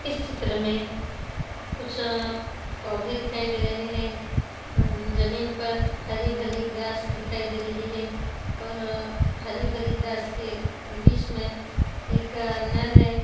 इस चित्र मे कुछ पौधे दिखाई दे रहे है| जमीन पर हरी-भरी ग्रास दिखाई दे रही है और हरी-भरी ग्रास के बीच मे एक नल है।